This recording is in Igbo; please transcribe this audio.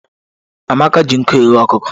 Amaka ji nkụ ghe ọkụkọ.